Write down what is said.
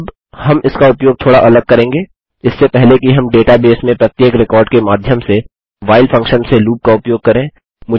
अब हम इसका उपयोग थोड़ा अलग करेंगे इससे पहले कि हम डेटा बेस में प्रत्येक रिकार्ड के माध्यम से व्हाइल फंक्शन से लूप का उपयोग करें